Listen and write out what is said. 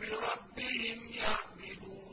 بِرَبِّهِمْ يَعْدِلُونَ